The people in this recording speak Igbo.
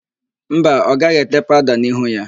Mba, ọ gaghị ete paụda n'ihu ya.